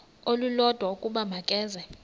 olulodwa ukuba makeze